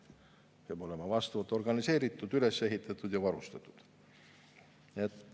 See peab olema vastavalt organiseeritud, üles ehitatud ja varustatud.